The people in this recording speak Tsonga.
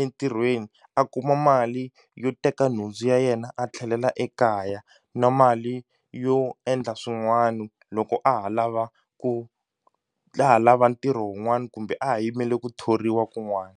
entirhweni a kuma mali yo teka nhundzu ya yena a tlhelela ekaya na mali yo endla swin'wani loko a ha lava ku laha lava ntirho wun'wani kumbe a ha yimele ku thoriwa kun'wani.